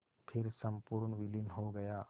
फिर संपूर्ण विलीन हो गया